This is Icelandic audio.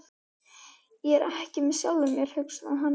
Ég er ekki með sjálfum mér, hugsaði hann.